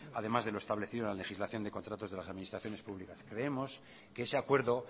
además de lo establecido en la legislación de contratos de las administraciones públicas creemos que ese acuerdo